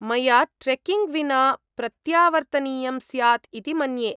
मया ट्रेक्किंग् विना प्रत्यावर्तनीयं स्यात् इति मन्ये।